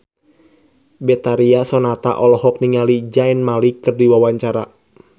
Betharia Sonata olohok ningali Zayn Malik keur diwawancara